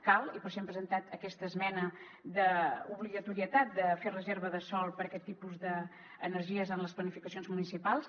cal i per això hem presentat aquesta esmena d’obligatorietat de fer reserva de sòl per a aquest tipus d’energies en les planificacions municipals